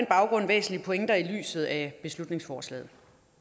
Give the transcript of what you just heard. baggrund væsentlige pointer i lyset af beslutningsforslaget